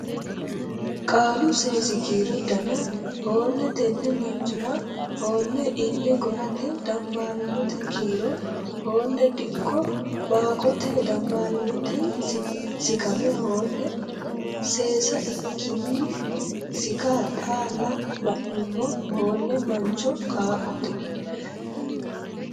Qaalu Seesi kiiro Dana Hoole tenne manchora Hoole ille go’rate Dambaariyyote Kiiro Hoole dikko Baaqqote Dambaariyyo sikkamme Hoole seesse ikkinni Sikka xaalla ba’nummo Hoole mancho qaaqqote.